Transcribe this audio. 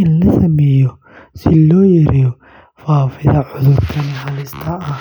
in la sameeyo si loo yareeyo faafidda cudhurkani halista ah.